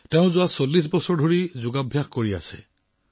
তেওঁ বিগত ৪০ বছৰ ধৰি যোগাসন কৰি আহিছে